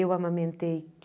Eu amamentei